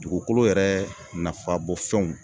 Dugukolo yɛrɛ nafabɔfɛnw